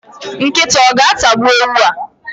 Nkịta o ga-atagbuwu ewu a?.